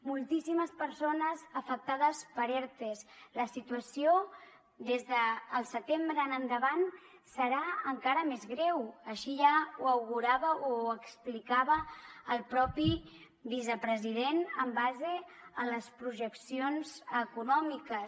moltíssimes persones afectades per ertes la situació des del setembre en endavant serà encara més greu així ja ho augurava o ho explicava el mateix vicepresident en base a les projeccions econòmiques